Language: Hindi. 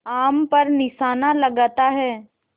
आम पर निशाना लगाता है